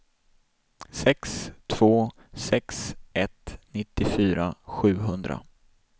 sex två sex ett nittiofyra sjuhundra